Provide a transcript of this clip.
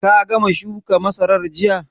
Ka gama shuka masarar jiya?